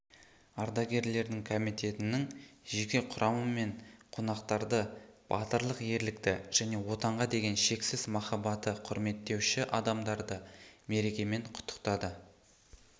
ардагерлерді комитетінің жеке құрамы мен қонақтарды батырлық ерлікті және отанға деген шексіз махаббаты құрметтеуші адамдарды мерекемен құттықтады